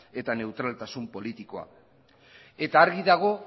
eta neutraltasun politikoa eta argi dago